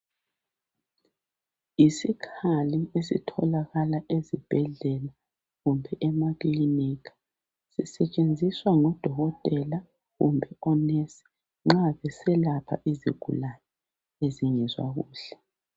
Yisikhali esitholakala ezibhedlela, kumbe emakilinika. Zisetshenziswa ngudokotela kumbe onesi, nxa ziselapha izigulane ezingezwa kuhle.